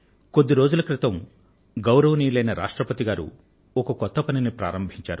కొద్ది రోజుల క్రితం మాననీయ రాష్ట్రపతి గారు ఒక కొత్త నాందీప్రస్తావనను చేశారు